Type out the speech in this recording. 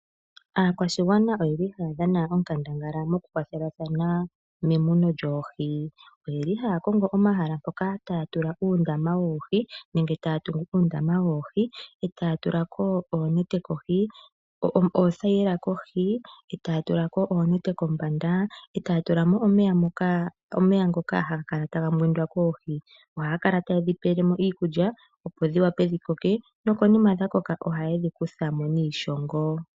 Aakwashigwana oye li ha ya dhana onkandangala moku kwathelathana memuno lyoohi. Oye li haya kongo omahala mpoka ta ya tula uundama woohi, nenge ta ya tungu uundama woohi, eeta ya tula ko, oothaila kohi, yo taya tulako oonete kombanda, taya tulamo omeya ngoka haga mbwindwa koohi. Oha ye dhi pelemo iikulya opo dhi koke nokonima oha ye dhi kuthamo niishongo.